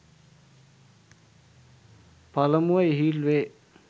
පළමුව ඉහිල් වේ.